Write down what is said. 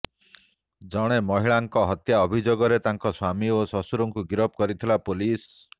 ଜଣେ ମହିଳାଙ୍କ ହତ୍ୟା ଅଭିଯୋଗରେ ତାଙ୍କ ସ୍ୱାମୀ ଓ ଶ୍ୱଶୁରଙ୍କୁ ଗିରଫ କରିଥିଲା ପୋଲିସ